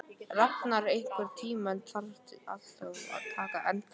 Rafnar, einhvern tímann þarf allt að taka enda.